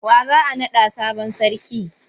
Wa za a naɗa sabon sarki?